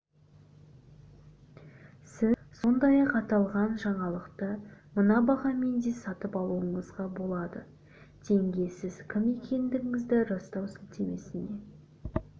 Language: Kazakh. сіз сондай-ақ аталған жаңалықты мына бағамен де сатып алуыңызға болады теңге сіз кім екендігіңізді растау сілтемесіне